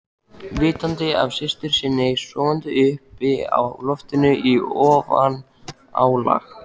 Vitandi af systur sinni sofandi uppi á loftinu í ofanálag?